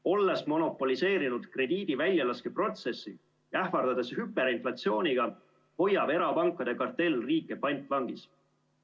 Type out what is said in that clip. Olles monopoliseerinud krediidi väljalaskeprotsessi ja ähvardades hüperinflatsiooniga, hoiab erapankade kartell riike pantvangis.